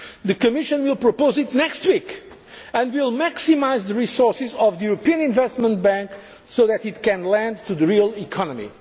initiative. The Commission will propose it next week, and will maximise the resources of the European Investment Bank so that it can lend to the real